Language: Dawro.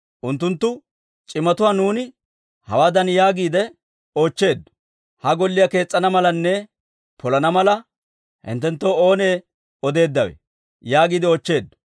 «Unttunttu c'imatuwaa nuuni hawaadan yaagiide oochcheeddo; ‹Ha Golliyaa kees's'ana malanne polana mala, hinttenttoo oonee odeeddawe?› yaagiide oochcheeddo.